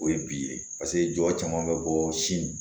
O ye bi ye paseke jɔ caman bɛ bɔ sin